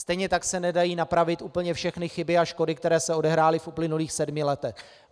Stejně tak se nedají napravit úplně všechny chyby a škody, které se odehrály v uplynulých sedmi letech.